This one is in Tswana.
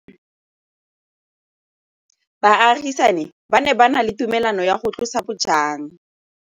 Baagisani ba ne ba na le tumalanô ya go tlosa bojang.